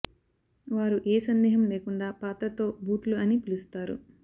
వారు ఏ సందేహం లేకుండా పాత్ర తో బూట్లు అని పిలుస్తారు